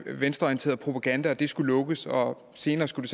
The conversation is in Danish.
venstreorienteret propaganda og at det skulle lukkes og senere skulle